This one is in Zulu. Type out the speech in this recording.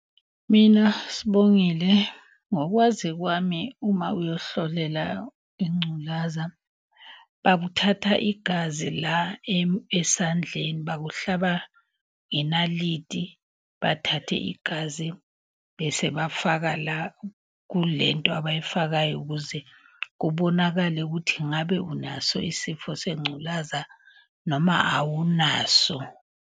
Mina Sibongile, ngokwazi kwami uma uyohlolela ingculaza, bakuthatha igazi la esandleni, bakuhlaba ngenaliti, bathathe igazi. Bese bafaka la kule nto abayifakayo ukuze kubonakale ukuthi ngabe unaso isifo sengculaza noma awunaso.